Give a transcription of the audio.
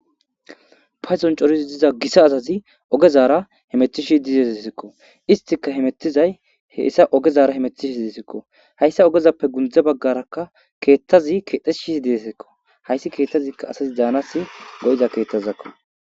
Paydoni coridi diza Gita asati ogezara hemetishe dizayseko, istika hemetizayi heysa ogezara hemetizaziko, haysa ogezappe gunde bagaraka keethazi kexetishe deziko, haysi keethaska asi danawu go'iza keethazako.